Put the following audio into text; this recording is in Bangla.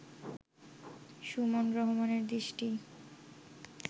সুমন রহমানের দৃষ্টি